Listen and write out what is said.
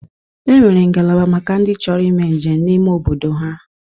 E nwere ngalaba maka ndị chọrọ ime njem n'ime obodo ha.